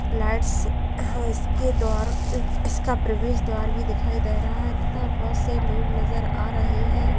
Lights और इसके द्वार इसके प्रवेश द्वार भी दिखाई दे रहा है तथा बहुत से लोग नजर आ रहे हैं।